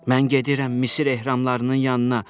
Mən gedirəm Misir ehramlarının yanına.